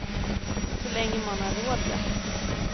Så länge man har råd ja.